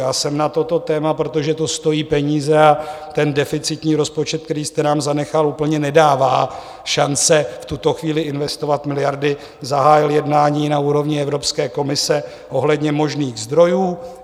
Já jsem na toto téma, protože to stojí peníze a ten deficitní rozpočet, který jste nám zanechal, úplně nedává šance v tuto chvíli investovat miliardy, zahájil jednání na úrovni Evropské komise ohledně možných zdrojů.